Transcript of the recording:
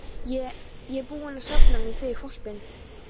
Ég. ég er búinn að safna mér fyrir hvolpinum.